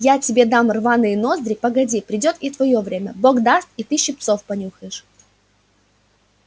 я тебе дам рваные ноздри погоди придёт и твоё время бог даст и ты щипцов понюхаешь